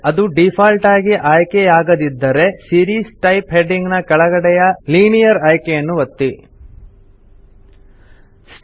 ಅದು ಡೀಫಾಲ್ಟ್ ಆಗಿ ಆಯ್ಕೆಯಾಗದಿದ್ದರೆ ಸೀರೀಸ್ ಟೈಪ್ ಹೆಡಿಂಗ್ ನ ಕೆಳಗಡೆಯ ಲಿನಿಯರ್ ಆಯ್ಕೆಯನ್ನು ಒತ್ತಿರಿ